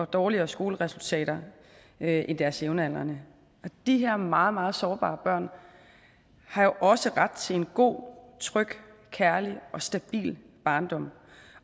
dårligere skoleresultater end deres jævnaldrende og de her meget meget sårbare børn har jo også ret til en god tryg kærlig og stabil barndom